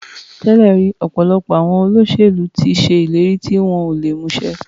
Tẹ́lẹ̀ rí ọ̀pọ̀lọpọ̀ àwọn olóṣèlú ti ṣe ìlérí tí wọn ò lè mú ṣẹ.